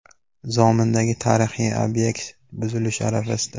Zomindagi tarixiy obyekt buzilish arafasida .